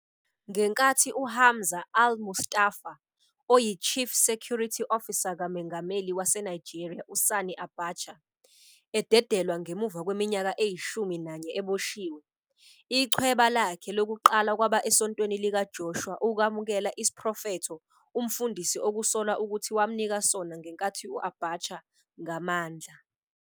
Ngenkathi uHamza Al-Mustapha, oyiChief Security Officer kaMengameli waseNigeria uSani Abacha, ededelwa ngemuva kweminyaka eyishumi nanye eboshiwe, ichweba lakhe lokuqala kwaba esontweni likaJoshua ukwamukela 'isiprofetho' umfundisi okusolwa ukuthi wamnika sona ngenkathi u-Abacha ngamandla.